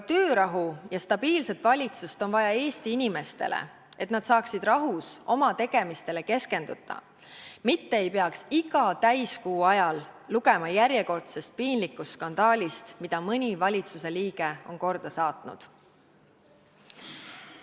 Töörahu ja stabiilset valitsust on vaja Eesti inimestele, et nad saaksid rahus oma tegemistele keskenduda, mitte ei peaks iga täiskuu ajal lugema järjekordsest piinlikust skandaalist, mille mõni valitsuse liige on põhjustanud.